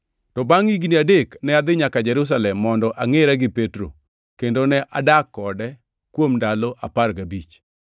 To bangʼ higni adek ne adhi nyaka Jerusalem mondo angʼera gi Petro, kendo ne adak kode kuom ndalo apar gabich.